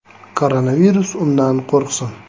Koronavirus undan qo‘rqsin.